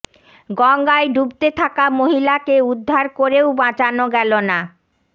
গঙ্গায় ডুবতে থাকা মহিলাকে উদ্ধার করেও বাঁচানো গেল না